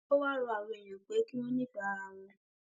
ó wáá rọ àwọn èèyàn pé kí wọn ní ìfẹ ara wọn